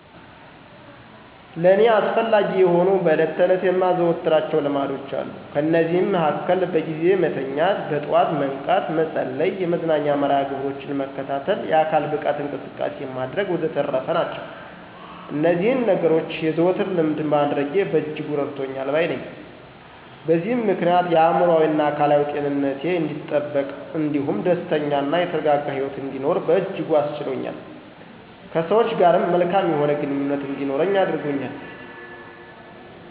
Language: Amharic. ለእኔ አስፈላጊ የሆኑ በዕለት ተዕለት የማዘወትራቸው ልማዶች አሉ። ከነዚህም መሀከል በጊዜ መተኛት፣ በጠዋት መንቃት፣ መጸለይ፣ የመዝናኛ መርሀ ግብሮችን መከታተል፣ የአካል ብቃት እንቅስቃሴ ማድረግ ወዘተረፈ ናቸው። እነዚህን ነገኖች የዘወትር ልምድ ማድረጌ በእጅጉ እረድቶኛል ባይ ነኘ። በዚህም ምክንያት የአእምሮአዊና አካላዊ ጤንነቴ አንዲጠበቅ እንዲሁም ደስተኛ እና የተረጋጋ ሂወት እንድኖር በእጅጉ አስችሎኛል። ከሰወች ጋርም መልካም የሆነ ግንኙነት እንዲኖረኝ አድርጎኛል።